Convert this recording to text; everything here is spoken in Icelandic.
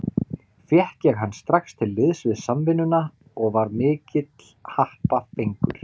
Fékk ég hann strax til liðs við Samvinnuna og var mikill happafengur.